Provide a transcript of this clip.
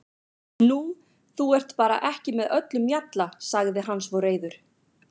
Nú, þú ert bara ekki með öllum mjalla, sagði hann svo reiður.